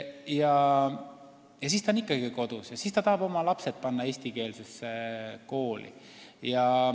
Lõpuks on ta ikkagi tagasi kodus ja tahab oma lapsed eestikeelsesse kooli panna.